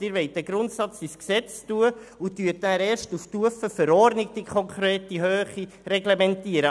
Sie wollen den Grundsatz im Gesetz festlegen und dann erst auf Stufe Verordnung die konkrete Höhe reglementieren.